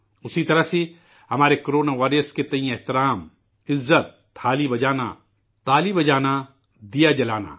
اسی طرح ہمارے کو رونا واریئر کے احترام ،عزت ، تھالی بجانا، تالی بجانا، دیا جلانا